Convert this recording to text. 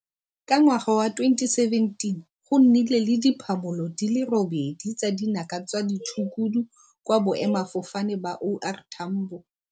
Ka ngwaga wa 2017 go nnile le diphamolo di le 8 tsa dinaka tsa ditshukudu kwa boemafofane ba O R Tambo